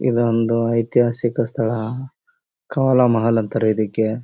ಇದೊಂದು ಐತಿಹಾಸಿಕ ಸ್ಥಳ ಕವಳ ಮಹಲ್ ಅಂತಾರೆ ಇದಕ್ಕೆ.